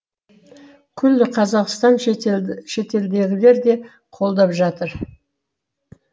күллі қазақстан шетелдегілер де қолдап жатыр